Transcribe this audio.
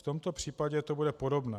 V tomto případě to bude podobné.